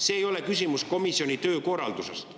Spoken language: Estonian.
See ei ole küsimus komisjoni töökorralduse kohta.